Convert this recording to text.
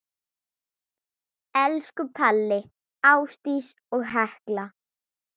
Elsku Palli, Ásdís og Hekla.